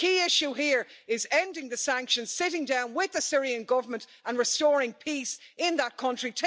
The key issue here is ending the sanctions, sitting down with the Syrian Government, and restoring peace in that country.